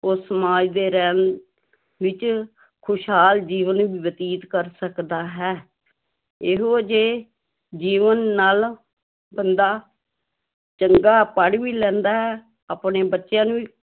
ਉਹ ਸਮਾਜ ਦੇ ਰਹਿਣ ਵਿੱਚ ਖ਼ੁਸ਼ਹਾਲ ਜੀਵਨ ਬਤੀਤ ਕਰ ਸਕਦਾ ਹੈ, ਇਹੋ ਜਿਹੇ ਜੀਵਨ ਨਾਲ ਬੰਦਾ ਚੰਗਾ ਪੜ੍ਹ ਵੀ ਲੈਂਦਾ ਹੈ, ਆਪਣੇ ਬੱਚਿਆਂ ਨੂੰ ਵੀ